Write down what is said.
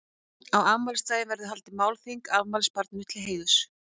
Á afmælisdaginn verður haldið málþing afmælisbarninu til heiðurs.